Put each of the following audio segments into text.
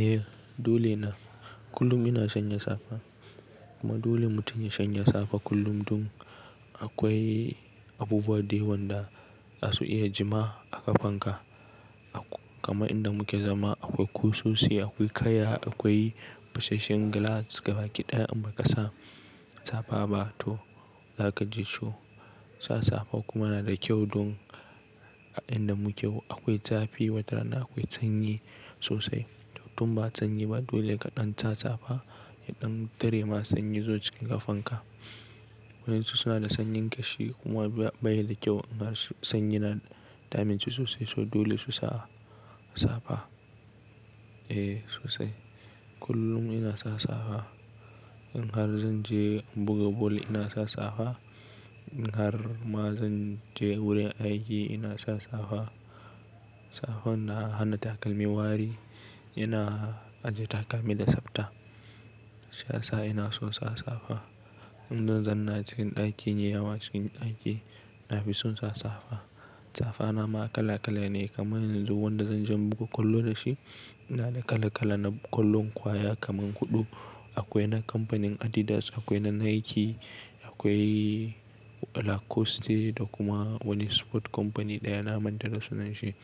Eh dole na kullum ina shanya safa. Kuma dole mutum ya shanye safa kullum. Dun akwai abubuwa da yawan da za su iya jima a ƙafanka. Akwa kaman inda muke zama akwai kusosi, akwai kaya, akwai fasasshen glass gaba ki ɗaya in ba ka sa safa ba to za ka ji ciwo. Sa safa kuma yana da kyau don a inda muke yau akwai zafi watarana akwai sanyi sosai. To tun ba sanyi ba dole ka ɗan sa safa, ɗan tare ma sanyi zo cikin ƙafanka. Wa'insu suna da sanyin ƙashi kuma baya da kyau. In har sanyi na damunsu sosai so dole su sa safa. Eh sosai kullum ina sa safa. In har zan je buga bal ina sa safa. In har ma zan je wurin aiki ina sa safa. Safan na hana takalmi wari. Ina ajiye takalmi da tsafta. Shi ya sa ina so sa safa. In zan zanna cikin ɗakina yawa cikin ɗaki na fi son sa safa. Safa na ma kala kala ne kamar yanzu wanda zan je buga kwallo da shi. Na da kala kala na kwallon kwaya kaman kuɗu. Akwai na kamfanin Adidas, akwai na Nike, akwai Lacoste da kuma wani sport company ɗaya na manta da sunanshi.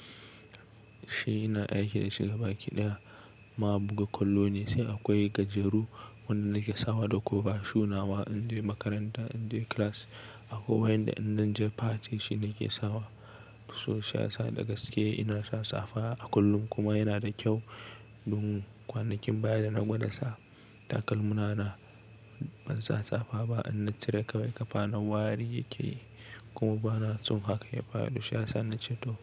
Shi ina aiki da shi gaba ki ɗaya. Ma buga kwallo ne sai akwai gajeru wannan nake sawa da kofa shuna wa in je makaranta in je class. Akwai wanda in zan je party shi nake sawa. To shi ya sa da gaske ina sa safa a kullum kuma yana da kyau don kwanakin baya da na gwada sa takalmana na ban sa safa ba in na cire kai ƙafa na wari yake yi kuma ba na so haka ya yafaru. To shi ya sa na ce to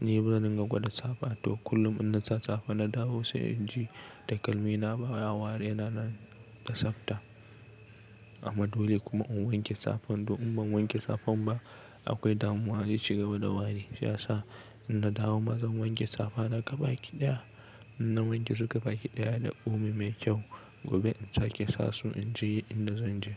ni bazan iya gwada safa to kullum in na sa safa na dawo sai in ji takalmina baya wari yana da tsafta. Amma dole kuma in wanke safan. To in ban wanke safan ba akwai damuwa shi ya ci gaba da wari. Shi ya sa in na dawo ma zan wanke safa na gaba ki ɗaya. In na wanke su gaba ki ɗaya da omo mai kyau. Gobe in sake sa su in je inda zan je.